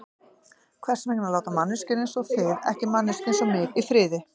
Hvers vegna láta manneskjur einsog þið ekki manneskju einsog mig í friði?